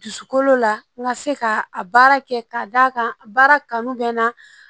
Dusukolo la n ka se ka a baara kɛ ka d'a kan baara kanu bɛ n na